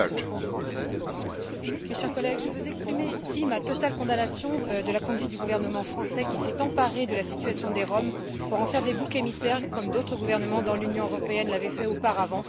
Mes chers collègues, je vais exprimer ici ma totale condamnation de la conduite du gouvernement français qui s'est emparé de la situation des Roms pour en faire des boucs émissaires, comme d'autres gouvernements dans l'Union européenne l'avaient fait auparavant et continuent de le faire.